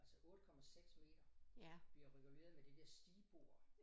Altså 8 komma 6 meter bliver reguleret med det der stigbord